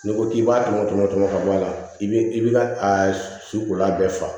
N'i ko k'i b'a tɔmɔ tɔmɔ ka bɔ a la i bi i bi ka a sukulan bɛɛ faga